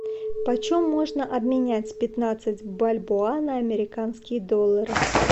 по чем можно обменять пятнадцать бальбоа на американские доллары